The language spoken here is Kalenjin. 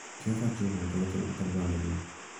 Kiasaa jeobo kotoreton atar bandanyun.